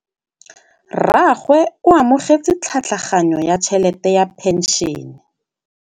Rragwe o amogetse tlhatlhaganyô ya tšhelête ya phenšene.